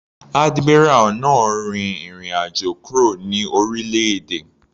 Admiral náà rin ìrìn àjò kúrò ní orílẹ̀-èdè.